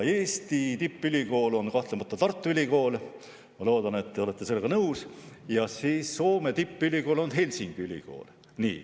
Eesti tippülikool on kahtlemata Tartu Ülikool – ma loodan, et te olete sellega nõus – ja Soome tippülikool on Helsingi Ülikool.